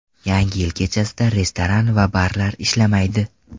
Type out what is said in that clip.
Yangi yil kechasida restoran va barlar ishlamaydi.